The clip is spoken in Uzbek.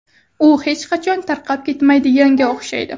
U hech qachon tarqab ketmaydiganga o‘xshaydi.